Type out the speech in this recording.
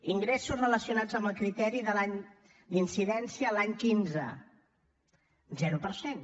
ingressos relacionats amb el criteri d’incidència l’any quinze zero per cent